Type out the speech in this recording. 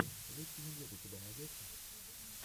липкий медведь у тебя найдется